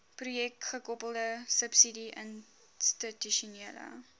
projekgekoppelde subsidie institusionele